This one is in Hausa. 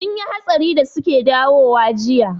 Sun yi hatsari da suke dawowa jiya